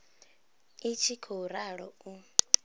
i tshi khou ralo u